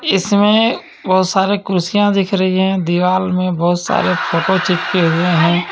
इसमें बोहोत सारे कुर्सियां दिख रही हे दिवाल मे बोहोत सारे फोटो चिपके हुई हे ।